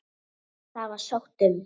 Það var sótt um.